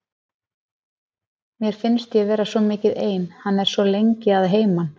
Mér finnst ég vera svo mikið ein, hann er svo lengi að heiman.